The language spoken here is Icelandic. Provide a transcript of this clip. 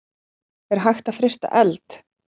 Er hægt að frysta eld?